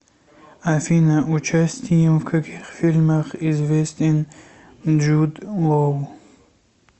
афина участием в каких фильмах известен джуд лоу